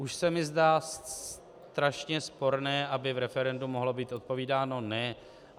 Už se mi zdá strašně sporné, aby v referendu mohlo být odpovídáno ne.